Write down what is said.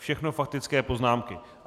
Všechno faktické poznámky.